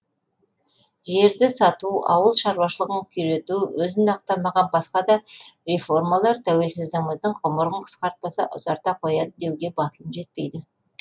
жерді сату ауыл шаруашылығын күйрету өзін ақтамаған басқа да реформалар тәуелсіздігіміздің ғұмырын қысқартпаса ұзарта қояды деуге батылым жетпейді